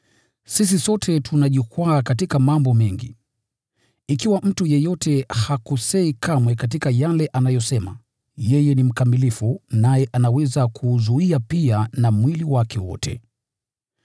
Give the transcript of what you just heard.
Sisi sote tunajikwaa katika mambo mengi. Ikiwa mtu yeyote hakosei kamwe katika yale anayosema, yeye ni mkamilifu, naye anaweza kuuzuia pia na mwili wake wote.